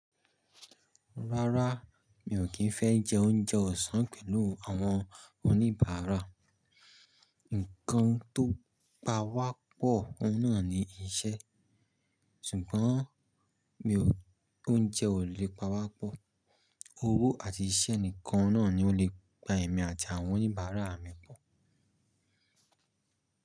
Rárá, mi ò kí ń fẹ́ jẹ oúnjẹ ọ̀sán pẹ̀lú àwọn oníbàárà. Ǹkan tó pa wá pọ̀ ohun nà ni iṣẹ́, ṣùgbọ́n mi ò oúnjẹ ò lè pa wá pọ̀. Owó àti iṣẹ́ nìkan náà ni ó lè pa ẹ̀mí àti àwọn oníbàárà mi pọ̀.